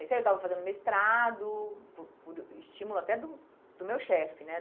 Aí saí, eu estava fazendo mestrado por por o estímulo até do do meu chefe, né?